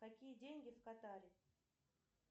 какие деньги в катаре